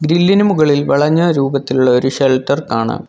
ഗ്രില്ലിന് മുകളിൽ വളഞ്ഞ രൂപത്തിലുള്ള ഒരു ഷെൽട്ടർ കാണാം.